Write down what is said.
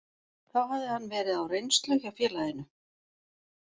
Þá hafði hann verið á reynslu hjá félaginu.